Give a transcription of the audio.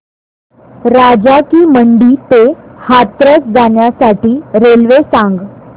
राजा की मंडी ते हाथरस जाण्यासाठी रेल्वे सांग